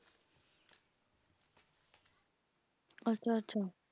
ਅੱਛਾ ਅੱਛਾ